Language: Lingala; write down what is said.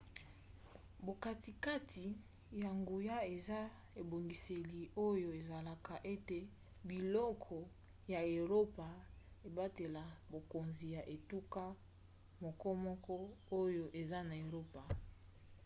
bokatikati ya nguya eza ebongiseli oyo esalaka ete bikolo ya eropa ebatela bokonzi ya etuka mokomoko oyo eza na eropa